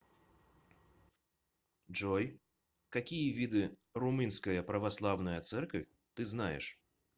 джой какие виды румынская православная церковь ты знаешь